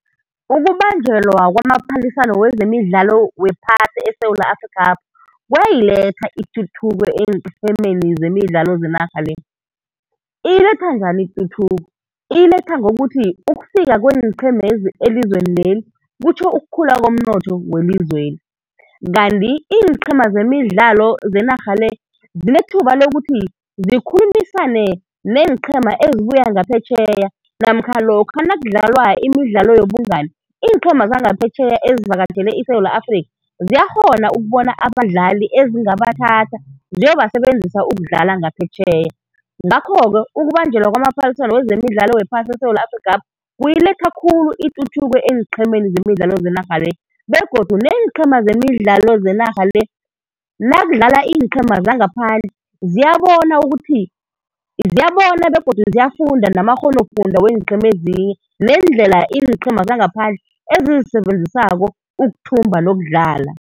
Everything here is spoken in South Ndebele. Ukubanjelwa kwamaphaliswano wezemidlalo wephasi eSewula Afrikhapha, kuyayiletha ituthuko eenqhemeni zemidlalo zenarha le. Iyiletha njani ituthuko, iyiletha ngokuthi ukufika kweenqhemezi elizweni leli kutjho ukukhula komnotho welizweli. Kanti iinqheema zemidlalo zenarha le zinethuba lokuthi zikhulumisane neenqhema ezibuya ngaphetjheya namkha lokha nakudlalwa imidlalo yobungani, iinqhema zangaphetjheya ezivakatjhele iSewula Afrikha ziyakghona ukubona abadlali ezingabathatha ziyobasebenzisa ukudlala ngaphetjheya. Ngakho-ke ukubanjelwa kwamaphaliswano wezemidlalo wephasi eSewula Afrikhapha kuyiletha khulu ituthuko eenqhemeni zenarha le, begodu neenqhema zemidlalo zenarha le nakudlala iinqhema zangaphandle ziyabona ukuthi, ziyabona begodu ziyafunda namakghonofundwa weenqhema ezinye, neendlela iinqhema zangaphandle ezizisebenzisako ukuthumba nokudlala.